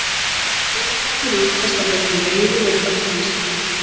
niðurgangur er oftast af völdum veiru eða bakteríusýkinga